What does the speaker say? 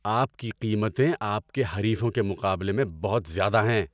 آپ کی قیمتیں آپ کے حریفوں کے مقابلے میں بہت زیادہ ہیں۔